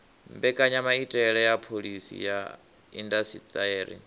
mbekanyamaitele ya phoḽisi ya indasiṱeri